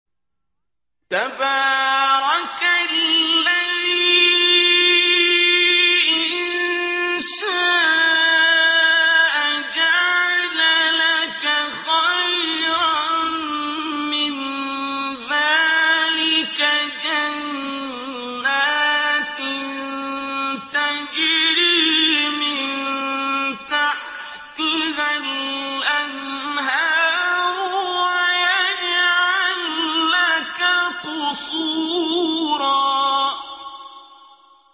تَبَارَكَ الَّذِي إِن شَاءَ جَعَلَ لَكَ خَيْرًا مِّن ذَٰلِكَ جَنَّاتٍ تَجْرِي مِن تَحْتِهَا الْأَنْهَارُ وَيَجْعَل لَّكَ قُصُورًا